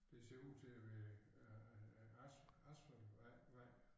Det ser ud til at være øh as asfaltvej vej